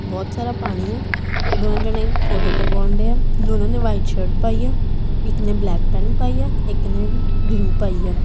ਬਹੁਤ ਸਾਰਾ ਪਾਣੀ ਆ ਦੋਨੋ ਜਨੇ ਫੋਟੋ ਕਰਵਾਉਣ ਡਏ ਆ ਦੋਨਾਂ ਨੇ ਵਾਈਟ ਸ਼ਰਟ ਪਾਈ ਆ ਇੱਕ ਨੇ ਬਲੈਕ ਪੈਂਟ ਪਾਈ ਆ ਇੱਕ ਨੇ ਵੀ ਬਲੂ ਪਾਈ ਆ--